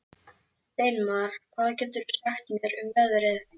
Steinmar, hvað geturðu sagt mér um veðrið?